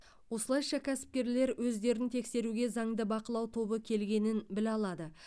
осылайша кәсіпкерлер өздерін тексеруге заңды бақылау тобы келгенін біле алады